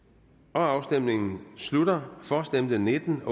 afstemningen slutter for stemte nitten